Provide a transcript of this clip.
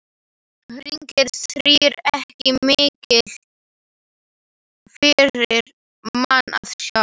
Hinir þrír ekki miklir fyrir mann að sjá.